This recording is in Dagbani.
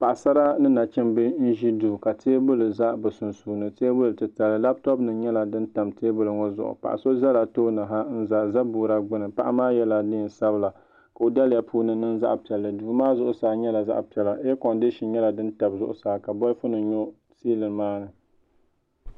Paɣasara ni nachimbi n ʒi duu ka teebuli ʒɛ bi sunsuuni teebuli titali labtop nim nyɛla din tam teebuli ŋo zuɣu paɣa so ʒɛla tooni ha n za zabuura gbuni paɣa maa yɛla neen sabila ka o daliya puuni niŋ zaɣ piɛla duu maa zuɣusaa nyɛla zaɣ piɛla eerkondishin nyɛla din tabi zuɣusaa ka bolfu nim nyo siilin maa